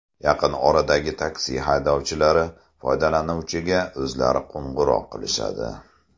Yaqin oradagi taksi haydovchilari foydalanuvchiga o‘zlari qo‘ng‘iroq qilishadi.